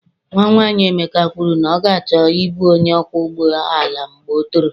Nwa nwanyị Emeka kwuru na ọ ga-achọ ịbụ onye ọkwọ ụgbọ ala mgbe ọ toro.